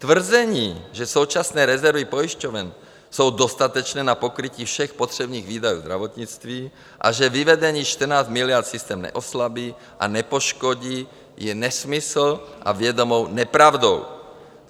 Tvrzení, že současné rezervy pojišťoven jsou dostatečné na pokrytí všech potřebných výdajů zdravotnictví a že vyvedení 14 miliard systém neoslabí a nepoškodí, je nesmysl a vědomá nepravda.